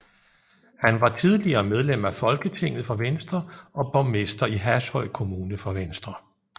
Han var tidligere medlem af Folketinget for Venstre og borgmester i Hashøj Kommune for Venstre